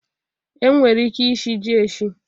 E nwere ike ishi ji eshi